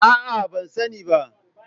A'a, ban sani ba